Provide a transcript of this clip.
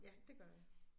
Ja det gør jeg